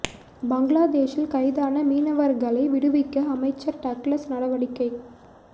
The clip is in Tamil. பங்களாதேஷில் கைதான மீனவர்களை விடுவிக்க அமைச்சர் டக்ளஸ் நடவடிக்கை